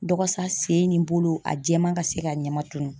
Dɔgɔsa, sen nin bolo, a jɛman ka se ka ɲɛma tunun.